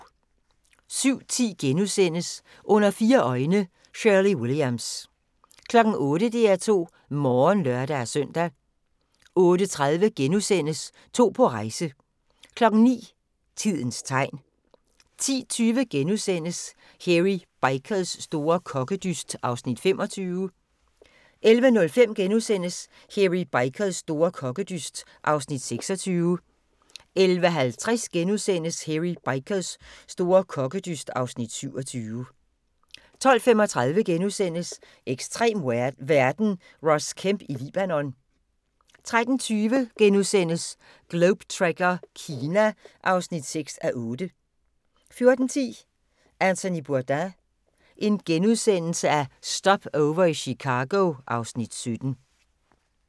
07:10: Under fire øjne – Shirley Williams * 08:00: DR2 Morgen (lør-søn) 08:30: To på rejse (3:8)* 09:00: Tidens tegn 10:20: Hairy Bikers store kokkedyst (Afs. 25)* 11:05: Hairy Bikers store kokkedyst (Afs. 26)* 11:50: Hairy Bikers store kokkedyst (Afs. 27)* 12:35: Ekstrem verden – Ross Kemp i Libanon * 13:20: Globe Trekker - Kina (6:8)* 14:10: Anthony Bourdain – Stopover i Chicago (Afs. 17)*